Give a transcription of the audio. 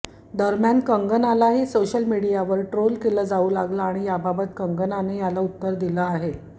दरम्यान कंगनालाही सोशल मीडियावर ट्रोल केलं जाऊ लागलं आणि याबाबत कंगनाने याला उत्तर दिलं आहे